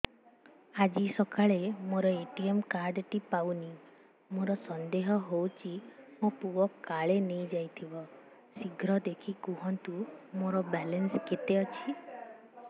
ଆଜି ସକାଳେ ମୋର ଏ.ଟି.ଏମ୍ କାର୍ଡ ଟି ପାଉନି ମୋର ସନ୍ଦେହ ହଉଚି ମୋ ପୁଅ କାଳେ ନେଇଯାଇଥିବ ଶୀଘ୍ର ଦେଖି କୁହନ୍ତୁ ମୋର ବାଲାନ୍ସ କେତେ ଅଛି